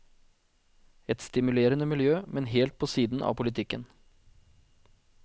Et stimulerende miljø, men helt på siden av politikken.